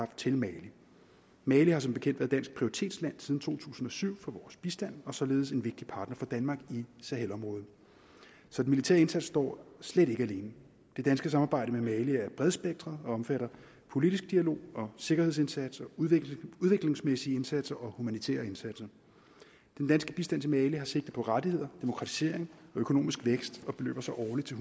til mali mali har som bekendt været dansk prioritetsland siden to tusind og syv for vores bistand og således en vigtig partner for danmark i sahelområdet så den militære indsats står slet ikke alene det danske samarbejde med mali er bredspektret og omfatter politisk dialog og sikkerhedsindsats udviklingsmæssige indsatser og humanitære indsatser den danske bistand til mali har sigte på rettigheder demokratisering og økonomisk vækst og beløber sig årligt til